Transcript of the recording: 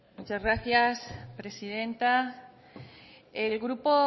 muchas gracias presidenta el grupo